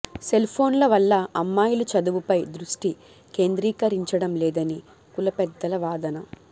సెల్ఫోన్ల వల్ల అమ్మాయిలు చదువుపై దృష్టి కేంద్రీకరించడం లేదని కుల పెద్దల వాదన